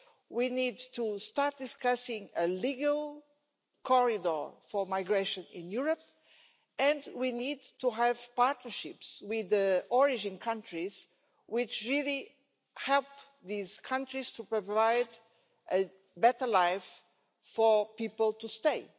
We need to start discussing a legal corridor for migration in Europe and we need to have partnerships with the origin countries, which really helped these countries to provide a better life, for people to stay.